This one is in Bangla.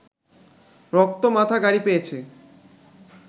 রক্ত মাখা গাড়ি পেয়েছে